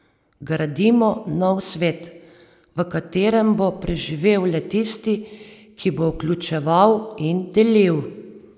Gradimo nov svet, v katerem bo preživel le tisti, ki bo vključeval in delil.